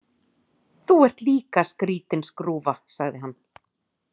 Þú ert líka skrítin skrúfa, sagði hann.